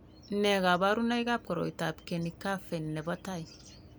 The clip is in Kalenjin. Nee kabarunoikab koroitoab Kenny Caffey nebo tai ?